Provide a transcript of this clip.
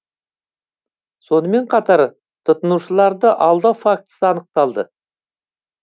сонымен қатар тұтынушыларды алдау фактісі анықталды